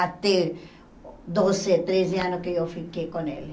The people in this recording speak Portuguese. Até doze, treze anos que eu fiquei com ele.